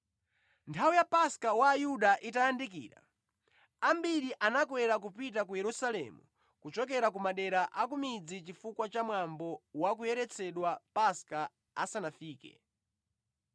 Nthawi ya Paska wa Ayuda itayandikira, ambiri anakwera kupita ku Yerusalemu kuchokera ku madera a ku midzi chifukwa cha mwambo wa kuyeretsedwa Paska asanafike.